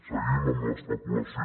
seguim amb l’especulació